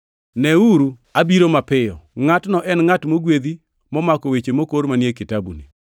“Neuru abiro mapiyo! Ngʼatno en ngʼat mogwedhi momako weche mokor manie kitabuni!”